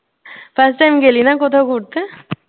first time গেলি না কোথাও ঘুরতে?